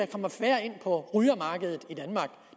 kommer færre ind på rygermarkedet